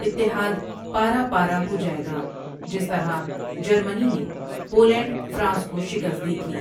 اتحاد پارہ پارہ ہوجائیگا، جس طرح جرمنی نے پولینڈ فرانس کو شکست دی تھی۔